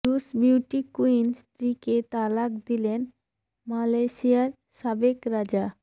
রুশ beauty queen স্ত্রীকে তালাক দিলেন মালয়েশিয়ার সাবেক রাজা